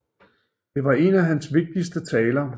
Det var en af hans vigtigste taler